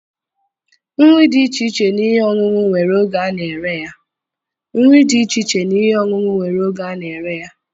Nri dị iche iche na ihe ọṅụṅụ nwere ego ana-ere ya.